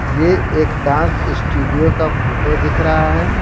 ये एक dance studio का फोटो दिख रहाहै।